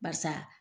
Barisa